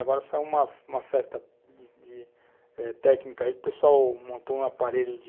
Agora saiu uma, uma festa de de técnica aí, o pessoal montou um aparelho de